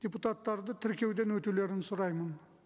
депутаттарды тіркеуден өтулерін сұраймын